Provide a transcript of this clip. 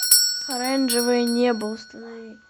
оранжевое небо установи